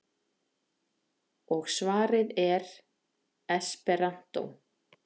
Og svarið er: esperantó.